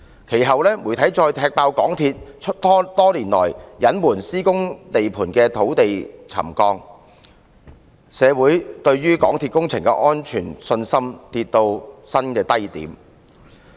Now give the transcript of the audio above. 其後，媒體再踢爆港鐵公司多年來隱瞞施工地盤的土地沉降問題，令社會對港鐵工程安全的信心跌至新低點。